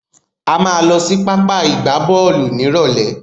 A máa lọ sí pápá ìgbábọ́ọ̀lù nírọ̀lẹ́.